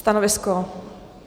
Stanovisko?